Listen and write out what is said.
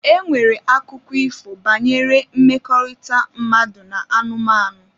E nwere akụkọ ifo banyere mmekọrịta mmadụ na anụmanụ.